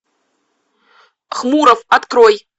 хмуров открой